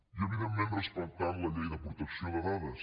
i evidentment respectant la llei de protecció de dades